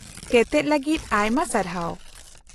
-ᱛᱮᱛᱮᱫ ᱞᱟᱹᱜᱤᱫ ᱟᱭᱢᱟ ᱥᱟᱨᱦᱟᱣ ᱾